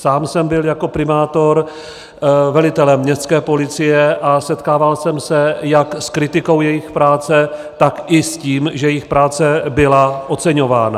Sám jsem byl jako primátor velitelem městské policie a setkával jsem se jak s kritikou jejich práce, tak i s tím, že jejich práce byla oceňována.